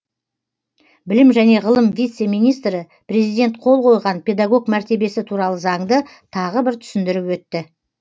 білім және ғылым вице министрі президент қол қойған педагог мәртебесі туралы заңды тағы бір түсіндіріп өтті